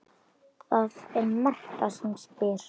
Þreifar alveg ofan í hann.